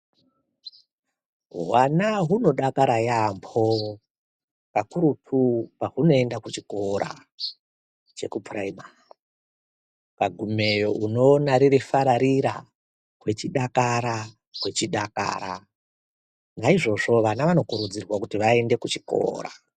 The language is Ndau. Vana hunodakara yaamho kakurutu pahunoenda kuchikora chepuraimari, ukagumeyo unoona hurifararira hweidakara hweidakara. Naizvozvo ana vanokurudzirwa kuti aende kuchikora.